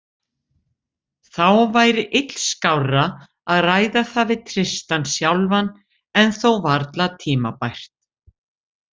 Þá væri illskárra að ræða það við Tristan sjálfan en þó varla tímabært.